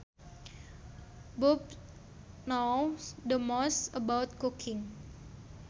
Bob knows the most about cooking